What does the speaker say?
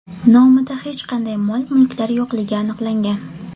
nomida hech qanday mol-mulklar yo‘qligi aniqlangan.